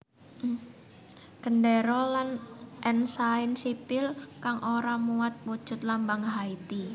Gendéra lan ensain sipil kang ora muat wujud lambang Haiti